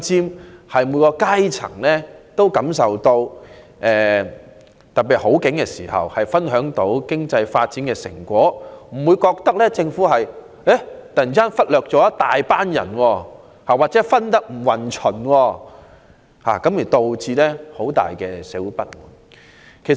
特別是在經濟好景時，須讓每一階層均能分享經濟發展的成果，不會讓人感到政府忽略了一大群人或分配不均，因而引起社會不滿。